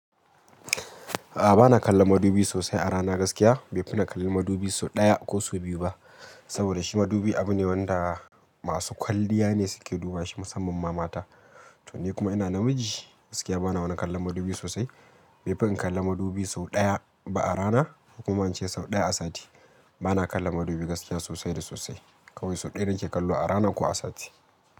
A'a bana kallon madubi sosai a rana gaskiya, bai fi na kalli madubi sau ɗaya ko sau biyu ba. Saboda shi madubi abu ne wanda masu kwalliya ne suke duba shi musamman ma mata. To ni kuma ina namiji gaskiya bana wani kallon madubi sosai. Bai fi in kalli madubi sau ɗaya ba a rana, hukuma ce sau ɗaya a sati. Bana kallon madubi gaskiya sosai da sosai. Kawai sau ɗaya nake kallo a rana ko a sati.